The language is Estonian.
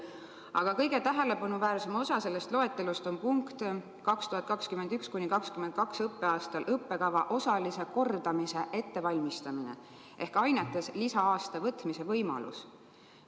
Aga kõige tähelepanuväärsem selles loetelus on 2021.–2022. õppeaastal õppekava osalise kordamise ettevalmistamine ehk ainetes lisa-aasta võtmise võimalus.